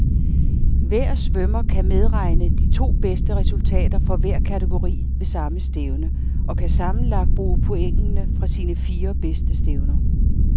Hver svømmer kan medregne de to bedste resultater fra hver kategori ved samme stævne, og kan sammenlagt bruge pointene fra sine fire bedste stævner.